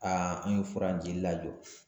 an ye fura in jili lajɔ